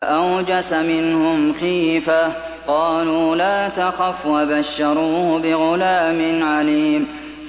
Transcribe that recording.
فَأَوْجَسَ مِنْهُمْ خِيفَةً ۖ قَالُوا لَا تَخَفْ ۖ وَبَشَّرُوهُ بِغُلَامٍ عَلِيمٍ